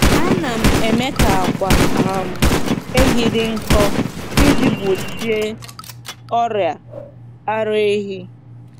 Ana m eme ka akwa um ehi dị nkọ iji gbochie ọrịa ara ehi.